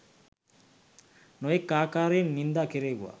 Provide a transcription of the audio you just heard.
නොයෙක් ආකාරයෙන් නින්දා කෙරෙව්වා